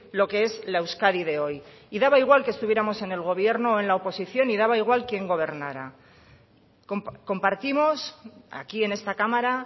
lo que es la euskadi de hoy y daba igual que estuviéramos en el gobierno o en la oposición y daba igual quién gobernara compartimos aquí en esta cámara